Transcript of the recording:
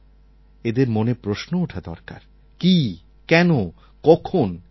এদের মনে প্রশ্ন ওঠা দরকার কি কেন কখন ইত্যাদির